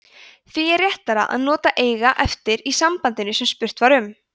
því er réttara að nota eiga eftir í sambandinu sem spurt var um